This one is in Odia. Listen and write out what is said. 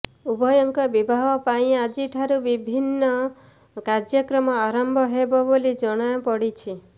ଉଭୟଙ୍କ ବିବାହ ପାଇଁ ଆଜି ଠାରୁ ବିଭିନ୍ନ କାର୍ଯ୍ୟକ୍ରମ ଆରମ୍ଭ ହେବ ବୋଲି ଜଣାପଡିଛି